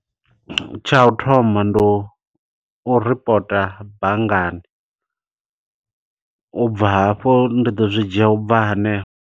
Tsha u thoma ndi u u ripota banngani, ubva hafho ndi ḓo zwi dzhia ubva hanefho.